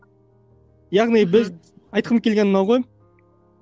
яғни біз айтқым келгені мынау ғой